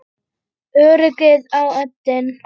Öryggið á oddinn!